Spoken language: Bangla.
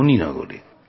আমাদের বাড়ি মণি নগরে